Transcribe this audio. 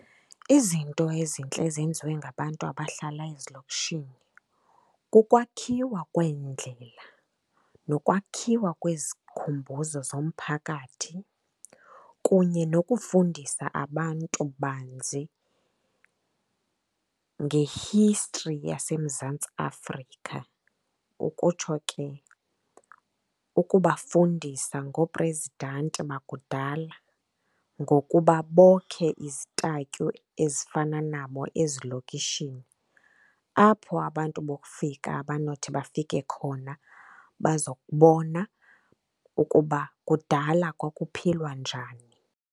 Izinto ezintle ezenziwe ngabantu abahlala ezilokishini kokwakhiwa kweendlela nokwakhiwa kwezikhumbuzo zomphakathi kunye nokufundisa abantu banzi nge-history yaseMzantsi Afrika, ukutsho ke ukubafundisa ngoophrezidanti bakudala ngokuba bokhe izitatyu ezifana nabo ezilokishini, apho abantu bokufika abanothi bafike khona bazokubona ukuba kudala kwakuphilwa njani.